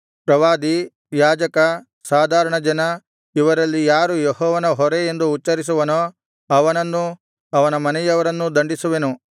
ಪ್ರವಾದಿ ಯಾಜಕ ಸಾಧಾರಣ ಜನ ಇವರಲ್ಲಿ ಯಾರೂ ಯೆಹೋವನ ಹೊರೆ ಎಂದು ಉಚ್ಚರಿಸುವನೋ ಅವನನ್ನೂ ಅವನ ಮನೆಯವರನ್ನೂ ದಂಡಿಸುವೆನು